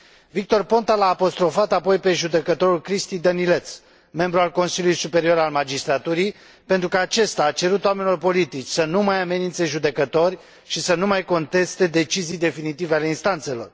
Victor Ponta l a apostrofat apoi pe judecătorul Cristi Dănileț, membru al Consiliului Superior al Magistraturii, pentru că acesta a cerut oamenilor politici să nu mai amenințe judecători și să nu mai conteste decizii definitive ale instanțelor.